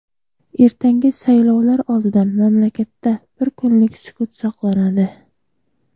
ertangi saylovlar oldidan mamlakatda bir kunlik sukut saqlanadi.